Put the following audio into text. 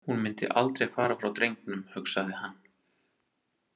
Hún mundi aldrei fara frá drengnum, hugsaði hann.